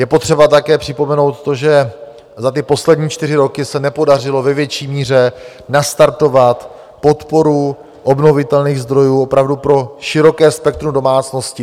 Je potřeba také připomenout to, že za ty poslední čtyři roky se nepodařilo ve větší míře nastartovat podporu obnovitelných zdrojů opravdu pro široké spektrum domácností.